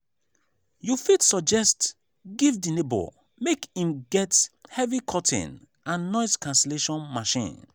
you fit suggest give di neighbor make im get heavy curtain and noise cancellation machine